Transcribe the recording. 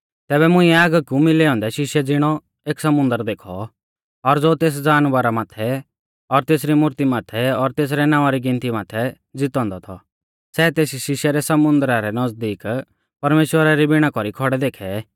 तैबै मुंइऐ आगी कु मिलै औन्दै शिशै ज़िणौ एक समुन्दर देखौ और ज़ो तेस जानवरा माथै और तेसरी मूर्ती माथै और तेसरै नावां री गिनती माथै ज़ितौ औन्दौ थौ सै तेस शिशै रै समुन्दरा रै नज़दीक परमेश्‍वरा री विणा कौरी खौड़ै देखै